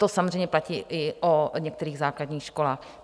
To samozřejmě platí i o některých základních školách.